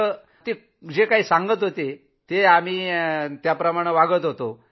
आणि ते जे काही सांगत होते ते मान्य करत होतो